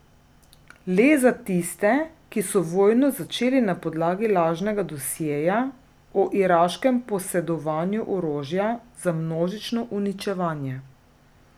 Le za tiste, ki so vojno začeli na podlagi lažnega dosjeja o iraškem posedovanju orožja za množično uničevanje.